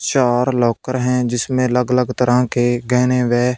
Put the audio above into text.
चार लॉकर हैं जिसमें अलग अलग तरह के गहने व--